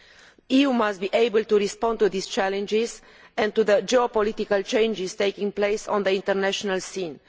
The EU must be able to respond to these challenges and to the geopolitical changes taking place on the international scene.